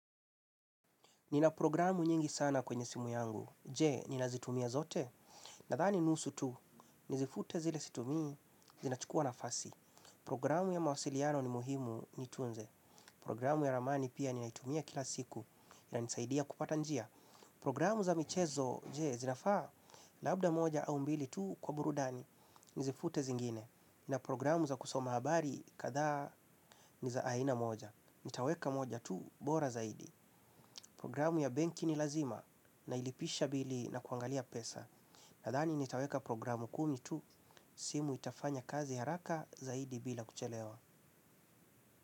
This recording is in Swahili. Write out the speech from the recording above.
Nina programu nyingi sana kwenye simu yangu. Je, nina zitumia zote? Na thani nusu tu, nizifute zile situmii, zinachukua nafasi. Programu ya mawasiliano ni muhimu, ni tunze. Programu ya ramani pia, ninaitumia kila siku. Ina nsaidia kupata njia. Programu za michezo, je, zinafaa? Labda moja au mbili tu, kwa burudani, nizifute zingine. Na programu za kusoma habari, kathaa niza aina moja. Nitaweka moja tu bora zaidi. Programu ya benki ni lazima. Nailipisha bili na kuangalia pesa. Nadhani nitaweka programu kumi tu. Simu itafanya kazi haraka, zaidi, bila kuchelewa.